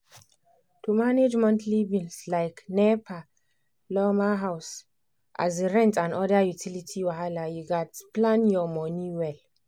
to manage monthly bills like nepa lawma house um rent and other utility wahala you gats plan your money well.